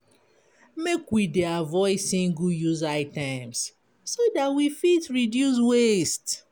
Make we dey avoid single-use items so dat we fit reduce waste.